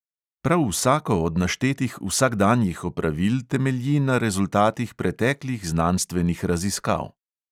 Prav vsako od naštetih vsakdanjih opravil temelji na rezultatih preteklih znanstvenih raziskav.